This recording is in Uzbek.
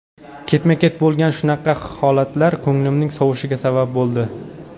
Ketma-ket bo‘lgan shunaqa holatlar ko‘nglimning sovishiga sabab bo‘ldi.